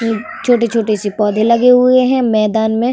छोटे-छोटे से पौधे लगे हुए हैं मैदान में।